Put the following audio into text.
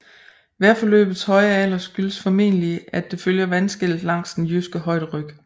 Vejforløbets høje alder skyldes formentlig at det følger vandskellet langs den Jyske højderyg